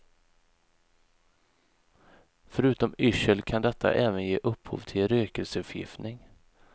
Förutom yrsel kan detta även ge upphov till rökelseförgiftning.